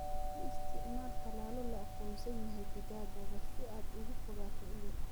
U isticmaal tallaallo la aqoonsan yahay digaaggaaga si aad uga fogaato cudur.